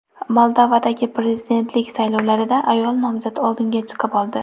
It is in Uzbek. Moldovadagi prezidentlik saylovlarida ayol nomzod oldinga chiqib oldi.